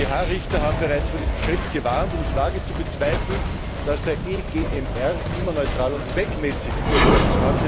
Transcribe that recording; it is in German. EuGH Richter haben bereits vor diesem Schritt gewarnt. Ich wage zu bezweifeln, dass der EGMR immer neutral und zweckmäßig urteilt.